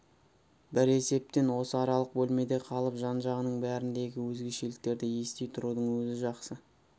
бір есептен осы аралық бөлмеде қалып жан-жағының бәріндегі өзгешеліктерді ести тұрудың өзі жақсы